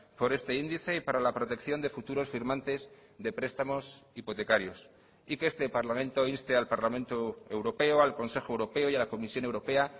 por este índice y para la protección de futuros firmantes de prestamos hipotecarios y que este parlamento inste al parlamento europeo al consejo europeo y a la comisión europea